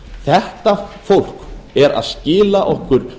þetta fólk er að skila okkur